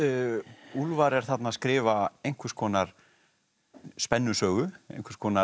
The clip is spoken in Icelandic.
úlfar er þarna að skrifa einhvers konar spennusögu einhvers konar